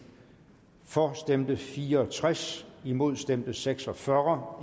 for stemte fire og tres imod stemte seks og fyrre